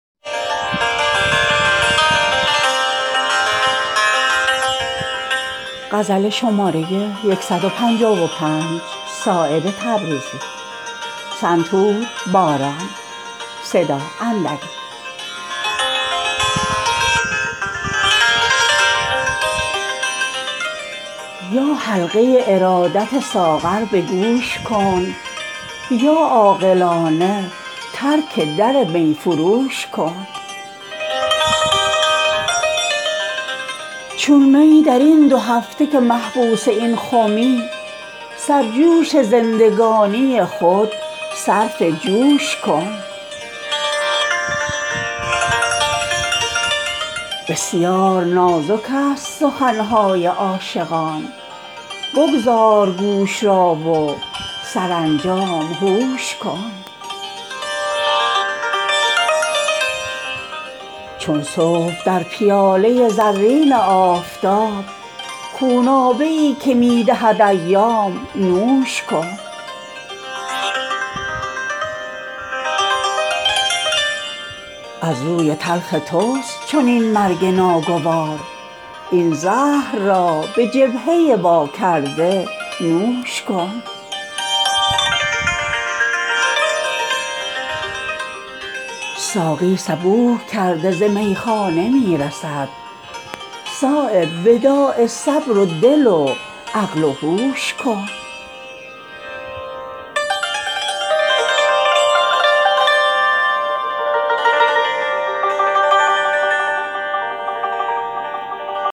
یا حلقه ارادت ساغر به گوش کن یا عاقلانه ترک در می فروش کن چون می درین دو هفته که محبوس این خمی سرجوش زندگانی خود صرف جوش کن بسیار نازک است سخن های عاشقان بگذار گوش را و سرانجام هوش کن چون صبح در پیاله زرین آفتاب خونابه ای که می دهد ایام نوش کن از بی قراری تو جهان است پر خروش این بحر را به لنگر تمکین خموش کن زان پیشتر که خرج کند گفتگو ترا پهلو تهی ز صحبت این خودفروش کن از روی تلخ توست چنین مرگ ناگوار این زهر را به جبهه واکرده نوش کن وصل گل از ترانه شب عندلیب یافت زنهار در کمینگه شبها خروش کن از نافه می توان به غزال ختن رسید جان را فدای مردم پشمینه پوش کن ساقی صبوح کرده ز میخان می رسد صایب وداع صبر و دل و عقل و هوش کن